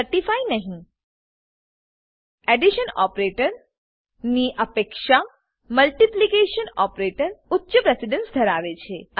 addition operator addition operator ની અપેક્ષા multiplication operator multiplication operator ઉચ્ચ પ્રેસીડન્સ ધરાવે છે